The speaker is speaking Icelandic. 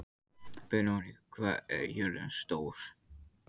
Benóný, hvað er jörðin stór?